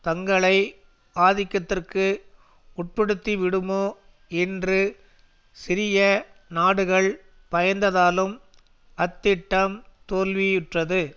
தங்களை ஆதிக்கத்திற்கு உட்படுத்திவிடுமோ என்று சிறிய நாடுகள் பயந்ததாலும் அத்திட்டம் தோல்வியுற்றது